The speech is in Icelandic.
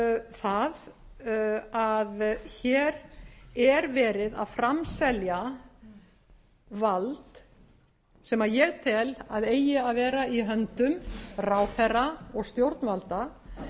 það að hér er verið að framselja vald sem ég tel að eigi að vera í höndum ráðherra og stjórnvalda